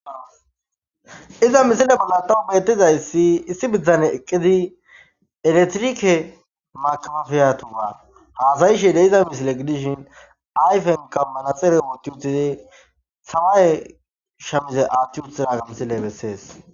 Iza misile bollan tawu betizayis issi bittaney eqidi eletire makepapaya botan hasayishe dizayshin ba ayipeynka manaxire wothi utidi samaye misilsle athi utidaga ha misile beses